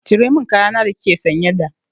Cire min kaya na da kike sanye da!